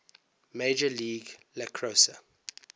major league lacrosse